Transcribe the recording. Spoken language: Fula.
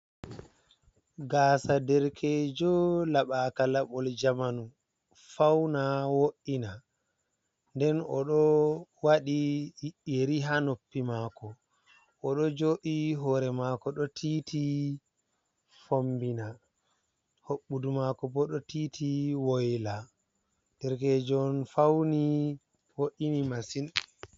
Gasa derkejo laɓaka laɓol jamanu fauna wo’ina nden oɗo waɗi yeri ha noppi mako. oɗo joɗi hore mako ɗo tiiti fombina hoɓɓudu mako bo ɗo tiiti woyla, derekejo on fauni wo’ini masin.